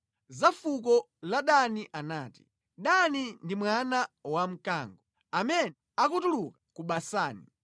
Za fuko la Dani anati: “Dani ndi mwana wamkango, amene akutuluka ku Basani.”